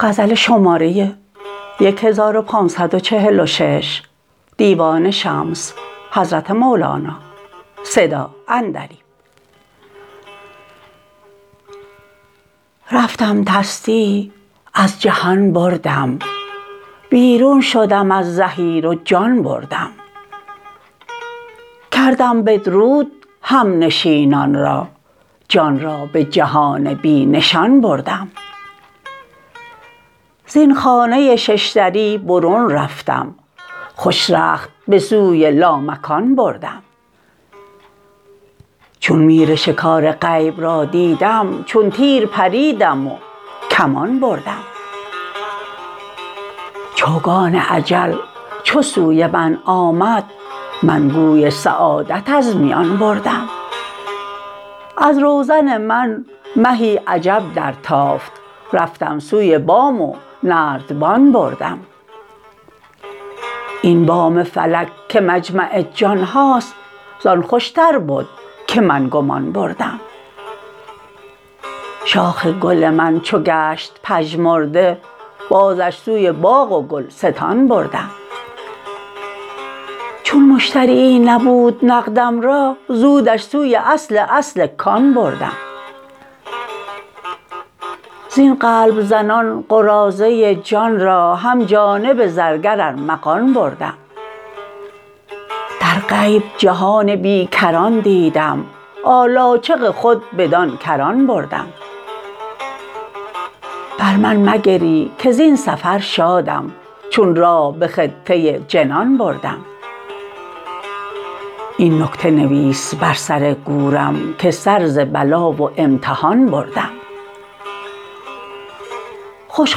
رفتم تصدیع از جهان بردم بیرون شدم از زحیر و جان بردم کردم بدرود همنشینان را جان را به جهان بی نشان بردم زین خانه شش دری برون رفتم خوش رخت به سوی لامکان بردم چون میر شکار غیب را دیدم چون تیر پریدم و کمان بردم چوگان اجل چو سوی من آمد من گوی سعادت از میان بردم از روزن من مهی عجب درتافت رفتم سوی بام و نردبان بردم این بام فلک که مجمع جان هاست ز آن خوشتر بد که من گمان بردم شاخ گل من چو گشت پژمرده بازش سوی باغ و گلستان بردم چون مشتریی نبود نقدم را زودش سوی اصل اصل کان بردم زین قلب زنان قراضه جان را هم جانب زرگر ارمغان بردم در غیب جهان بی کران دیدم آلاجق خود بدان کران بردم بر من مگری که زین سفر شادم چون راه به خطه جنان بردم این نکته نویس بر سر گورم که سر ز بلا و امتحان بردم خوش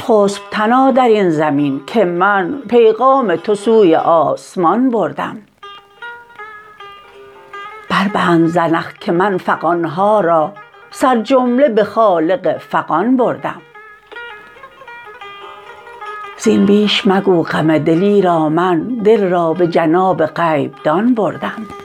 خسپ تنا در این زمین که من پیغام تو سوی آسمان بردم بربند زنخ که من فغان ها را سرجمله به خالق فغان بردم زین بیش مگو غم دل ایرا من دل را به جناب غیب دان بردم